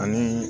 Ani